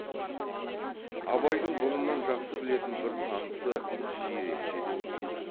абайдың бұрыннан жақсы білетін бір танысы жиренше де осында